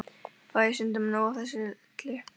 Fæ ég stundum nóg af þessu öllu?